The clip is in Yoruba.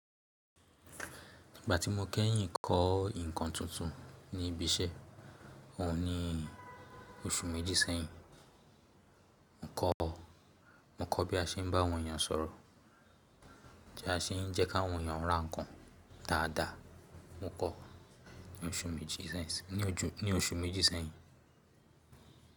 Ìgbà tí mo kẹ́yìn kọ́ ǹkan tuntun ní ibi iṣẹ́ òun ní oṣù méjì sẹ́yìn. Mo kọ́ bí a se n bá àwọn èèyàn sọ̀rọ̀, bí a se n jẹ́ ki àwọn èèyàn ra nǹkan dáadáa mo kọ ní oṣù méjì sẹ́yìn.